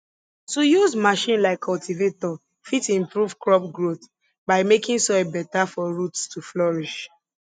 to use machine like cultivator fit improve crop growth by making soil better for roots to flourish